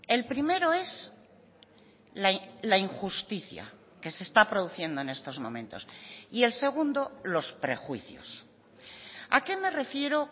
el primero es la injusticia que se está produciendo en estos momentos y el segundo los prejuicios a qué me refiero